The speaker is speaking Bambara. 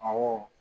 Awɔ